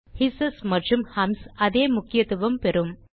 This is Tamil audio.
ஹிஸ்ஸஸ் மற்றும் ஹம்ஸ் அதே முக்கியத்துவம் பெறும்